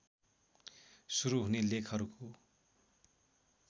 सुरू हुने लेखहरूको